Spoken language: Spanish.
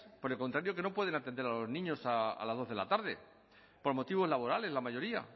por el contrario que no pueden atender a los niños a las dos de la tarde por motivos laborales la mayoría